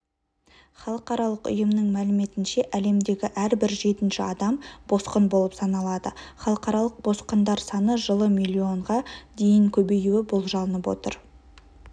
халықаралық ұйымның мәліметінше әлемдегі әрбір жетінші адам босқын болып саналады халықаралық босқындар саны жылы млн-ға дейін көбеюі болжанып отыр